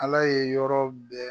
Ala ye yɔrɔ bɛɛ